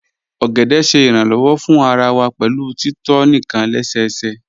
Ogede ṣẹ iranlọwọ̀ fún àrà wà pẹ̀lú títọ̀ níkan lẹ́sẹ̀sẹ̀